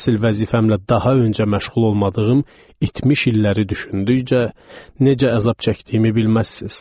Əsil vəzifəmlə daha öncə məşğul olmadığım itmiş illəri düşündükcə, necə əzab çəkdiyimi bilməzsiniz.